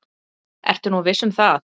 Ertu nú viss um það?